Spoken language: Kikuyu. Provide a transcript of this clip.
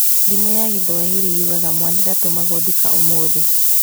Thimo ya gĩthwaĩri yugaga mwana ndatũmagwo nduka ũmũthĩ